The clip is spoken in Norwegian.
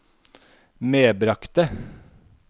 medbragte